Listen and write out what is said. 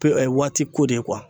waati ko de ye